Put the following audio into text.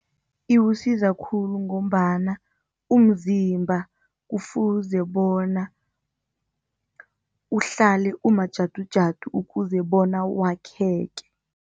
Iwusiza khulu ngombana umzimba kufuze bona uhlale umajadujada ukuze bona wakheke.